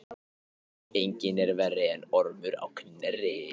Enginn er verri en Ormur á Knerri.